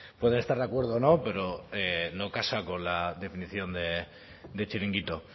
puede estar de acuerdo o no pero no casa con la definición de chiringuito